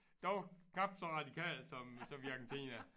Dog knap så radikalt som som i Argentina